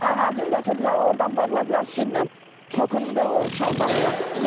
Ağacın götürdülər, ordan bağladılar simlə, tokundu o şalbardan.